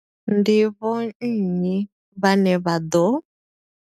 Ndi vho nnyi vhane vha ḓo.